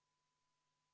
Aitäh, hea eesistuja!